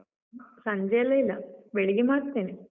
ಸಂಜೆಯೆಲ್ಲ ಇಲ್ಲ, ಬೆಳಿಗ್ಗೆ ಮಾಡ್ತೇನೆ.